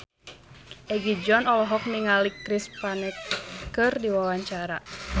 Egi John olohok ningali Chris Pane keur diwawancara